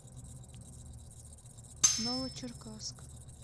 новочеркасск